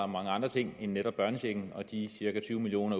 mange andre ting end netop børnechecken og de cirka tyve million